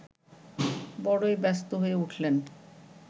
বড়ই ব্যস্ত হয়ে উঠলেন